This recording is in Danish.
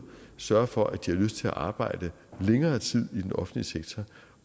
sørge for at de har lyst til at arbejde længere tid i den offentlige sektor